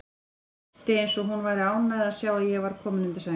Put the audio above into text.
Brosti eins og hún væri ánægð að sjá að ég var kominn undir sæng.